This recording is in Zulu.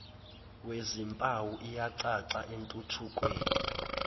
wezimpawu iyacaca entuthukweni